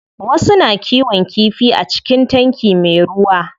Wasu na kiwon kifi a cikin tanki me ruwa.